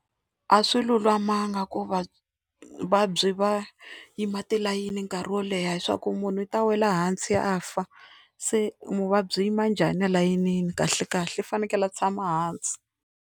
A swi lulamanga ku va vavabyi va yima tilayini nkarhi wo leha leswaku munhu i ta wela hansi a fa, se muvabyi u yima njhani alayinini kahle kahle u fanekele a tshama hansi.